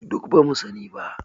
Duk ba mu sani ba